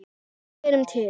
Við erum til!